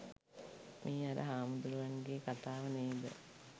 මේ අර හාමුදුරුවන් ගේ කතාව නේද?